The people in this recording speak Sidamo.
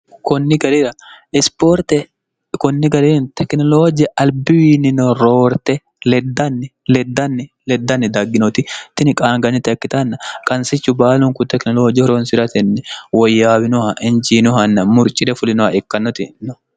igirisipoorte konni gari tekinolooje albiwiinino roorte eddnnileddnni leddanni dagginoti tini qaanganite ekkitanna qansichu baalunku tekinolooji horonsi'ratenni woyyaawinoha injiinohanna murchide fulinoha ikkannoti no